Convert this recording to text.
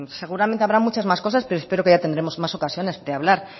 seguramente habrá muchas más cosas pero espero que ya tendremos más ocasiones de hablar